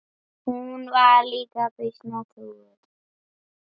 Hún var líka býsna trúuð.